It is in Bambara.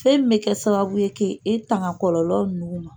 Fɛn bɛ kɛ sababu ye k'i tanga kɔlɔlɔ ninnu ma.